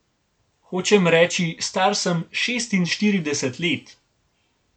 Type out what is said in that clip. Hočem reči, star sem šestinštirideset let.